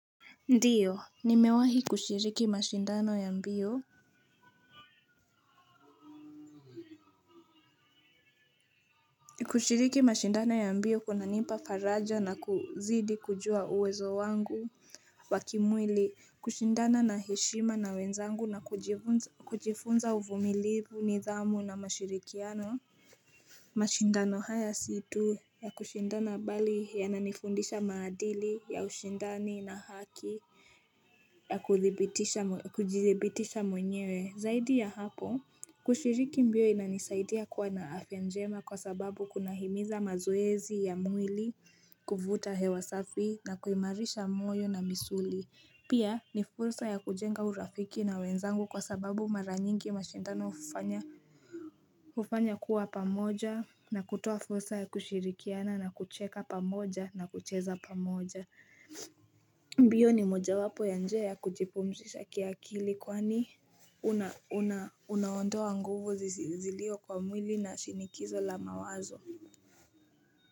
Ndiyo nimewahi kushiriki mashindano ya mbio kushiriki mashindano ya mbio kunanipa faraja na kuzidi kujua uwezo wangu wa kimwili kushindana na heshima na wenzangu na kujifunza uvumilivu nidhamu na mashirikiano mashindano haya si tu ya kushindana bali yananifundisha maadili ya ushindani na haki ya kujidhibitisha mwenyewe zaidi ya hapo kushiriki mbio inanisaidia kuwa na afya njema kwa sababu kuna himiza mazoezi ya mwili, kuvuta hewa safi na kuimarisha moyo na misuli Pia ni fursa ya kujenga urafiki na wenzangu kwa sababu mara nyingi mashindano hufanya ufanya kuwa pamoja na kutoa fursa ya kushirikiana na kucheka pamoja na kucheza pamoja mbio ni mojawapo ya njia ya kujipumzisha kiakili kwani unaondoa nguvu zilio kwa mwili na shinikizo la mawazo.